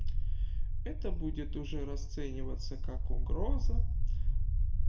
это будет уже расцениваться как угроза